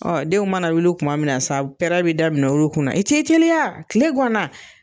Ɔ denw mana wuli kuma min na sa, pɛɛrɛ bɛ daminɛ o kunna i tɛ tɛliya kile gana.